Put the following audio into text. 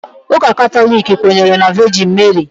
Ụka Katọlik kwenyere na Vejin Meri